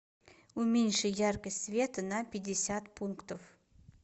уменьши яркость света на пятьдесят пунктов